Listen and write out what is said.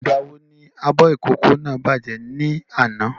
Ìgbà wo ní abọ ìkókó náà bàjẹ́ ní àná?